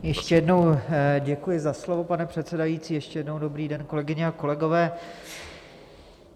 Ještě jednou děkuji za slovo, pane předsedající, ještě jednou dobrý den, kolegyně a kolegové.